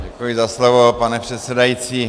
Děkuji za slovo, pane předsedající.